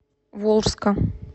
волжска